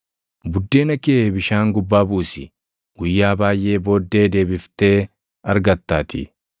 Buddeena kee bishaan gubbaa buusi; guyyaa baayʼee booddee deebiftee argattaatii.